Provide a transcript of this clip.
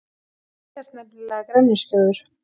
Mér leiðast nefnilega grenjuskjóður.